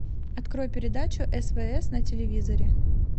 открой передачу свс на телевизоре